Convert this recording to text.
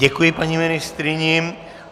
Děkuji paní ministryni.